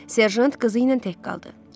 Serjant qızı ilə tək qaldı.